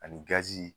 Ani gazi